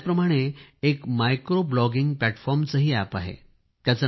याचप्रमाणे एक micro blogging प्लॅटफॉर्मचेही अॅप आहे